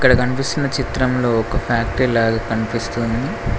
ఇక్కడ కనిపిస్తున్న చిత్రంలో ఒక ఫ్యాక్టరీ లాగా కనిపిస్తుంది.